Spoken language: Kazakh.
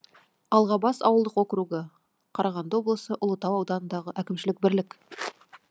алғабас ауылдық округі қарағанды облысы ұлытау ауданындағы әкімшілік бірлік